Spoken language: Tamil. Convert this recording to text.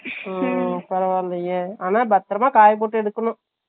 ஹம் ஹம் ஹம் பரவலையே ஆனா பத்திரமா காயப்போட்டு எடுக்கணும்